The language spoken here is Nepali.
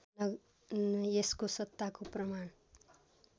यसको सत्ताको प्रमाण